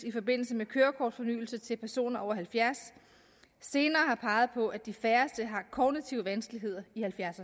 i forbindelse med kørekortsfornyelse til personer over halvfjerds år senere har peget på at de færreste har kognitive vanskeligheder i halvfjerds